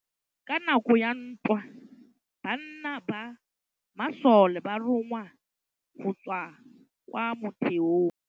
Ka nakô ya dintwa banna ba masole ba rongwa go tswa kwa mothêô.